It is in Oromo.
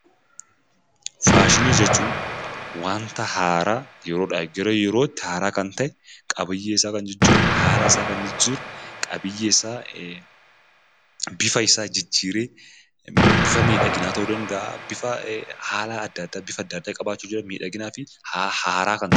Faashinii jechuun wanta haaraa yeroodhaa gara yerootti haaraa kan ta'e qabiyyee isaa kan jijjiiru, haala isaa kan jijjiiru, qabiyyee isaa bifa isaa jijjiiree, bifa miidhaginaa ta'uu danda'aa, bifa haala adda addaa, bifa adda addaa qabaachuu danda'a miidhaginaa fi haaraa kan ta'e...